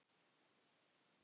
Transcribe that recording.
Að gera hvað?